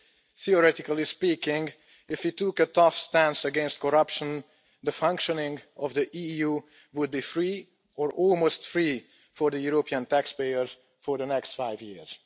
Theoretically speaking, if we took a tough stance against corruption, the functioning of the EU would be free or almost free for the European taxpayers for the next five years.